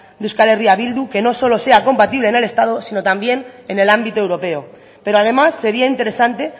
de euskal herria bildu que no sea solo compatible en el estado sino también en el ámbito europeo pero además sería interesante